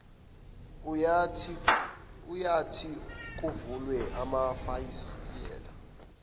eyathi kuvulwe amafasitela